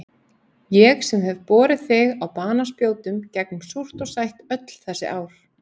Ég sem hef borið þig á banaspjótum gegnum súrt og sætt öll þessi ár.